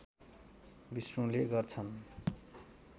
विष्णुले गर्छन्